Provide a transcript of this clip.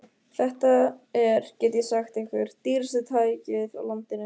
Þetta er, get ég sagt ykkur, dýrasta tækið á landinu.